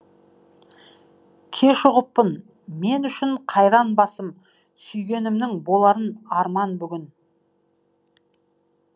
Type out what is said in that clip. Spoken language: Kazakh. кеш ұғыппын мен үшін қайран басым сүйгенімнің боларын арман бүгін